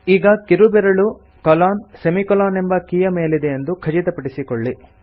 ಈಗ ಕಿರುಬೆರಳು colonsemi colon ಎಂಬ ಕೀಯ ಮೇಲಿದೆಯೆಂದು ಖಚಿತಪಡಿಸಿಕೊಳ್ಳಿ